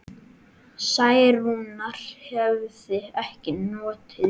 Særúnar hefði ekki notið við.